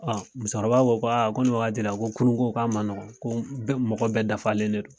Ɔ musokɔrɔba ko ko aa ko ni wagati la ko kurun ko k'a ma nɔgo ko bɛ mɔgɔ bɛ dafalen de do